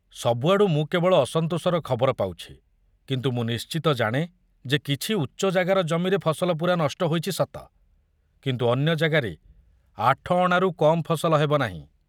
ସବୁଆଡୁ ମୁଁ କେବଳ ଅସନ୍ତୋଷର ଖବର ପାଉଛି, କିନ୍ତୁ ମୁଁ ନିଶ୍ଚିତ ଜାଣେ ଯେ କିଛି ଉଚ୍ଚ ଜାଗାର ଜମିରେ ଫସଲ ପୂରା ନଷ୍ଟ ହୋଇଛି ସତ, କିନ୍ତୁ ଅନ୍ୟ ଜାଗାରେ ଆଠଅଣାରୁ କମ ଫସଲ ହେବନାହିଁ।